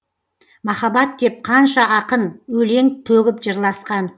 махаббат деп қанша ақын өлең төгіп жырласқан